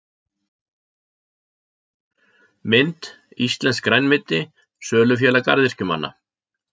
Mynd: Íslenskt grænmeti- Sölufélag garðyrkjumanna.